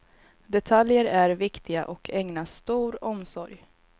Detaljer är viktiga och ägnas stor omsorg.